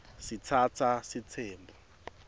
sitsatsa sitsembu